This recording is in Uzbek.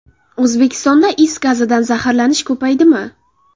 O‘zbekistonda is gazidan zaharlanish ko‘paydimi?.